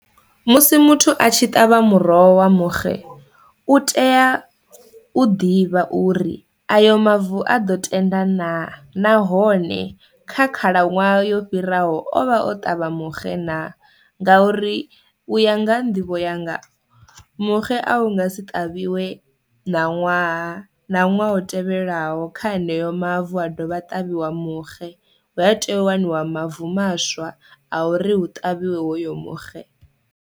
Musi muthu a tshi ṱavha muroho wa muxe u tea u ḓivha uri ayo mavu a ḓo tenda na nahone kha khalaṅwaha yo fhiraho ovha o ṱavha muxe na, nga uri u ya nga nḓivho yanga muxe a unga si ṱavhiwe na ṅwaha na ṅwaha u tevhelaho kha haneyo mavu ha dovha a ṱavhiwa muxe hu a tea u waniwa mavu maswa a uri hu ṱavhiwe hoyo muxe.